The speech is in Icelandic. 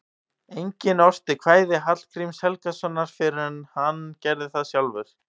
Enginn orti kvæði Hallgríms Helgasonar fyrr en hann gerði það sjálfur.